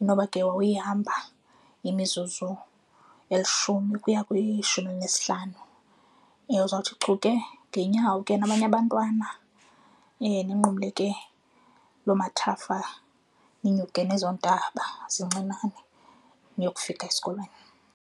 inoba ke wawuyihamba imizuzu elishumi ukuya kwishumi elinesihlanu. Uzawuthi chu ke ngeenyawo ke nabanye abantwana, ninqumle ke loo amathafa, ninyuke nezo ntaba zincinane niyokufika esikolweni.